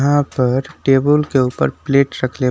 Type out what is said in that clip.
यहां पर टेबुल के ऊपर प्लेट रखले --